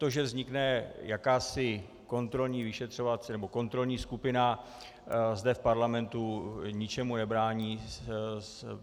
To, že vznikne jakási kontrolní vyšetřovací nebo kontrolní skupina zde v parlamentu, ničemu nebrání.